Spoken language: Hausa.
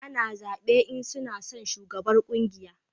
A na zabe in suna son shugaban ƙungiya